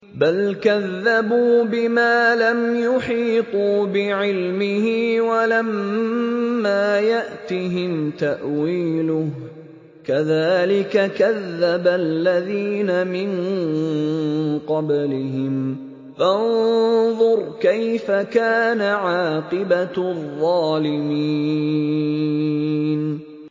بَلْ كَذَّبُوا بِمَا لَمْ يُحِيطُوا بِعِلْمِهِ وَلَمَّا يَأْتِهِمْ تَأْوِيلُهُ ۚ كَذَٰلِكَ كَذَّبَ الَّذِينَ مِن قَبْلِهِمْ ۖ فَانظُرْ كَيْفَ كَانَ عَاقِبَةُ الظَّالِمِينَ